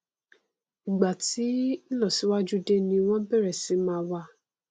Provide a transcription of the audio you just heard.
ìgbà tí ìlọsíwájú dé ni wọn bẹrẹ sí máa wá